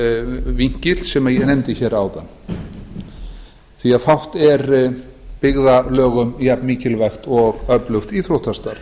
íþróttavinkillinn sem ég nefndi áðan fátt er byggðarlögum jafnmikilvægt og öflugt íþróttastarf